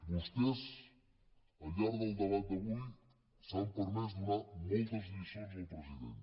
vostès al llarg del debat d’avui s’han permès donar moltes lliçons al president